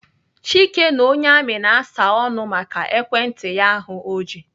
Chike na onye amị na-asa ọnụ maka ekwentị ya ahụ o ji.